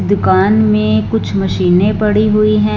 दुकान में कुछ मशीनें पड़ी हुई हैं।